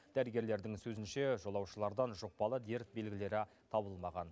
дәрігерлердің сөзінше жолаушылардан жұқпалы дерт белгілері табылмаған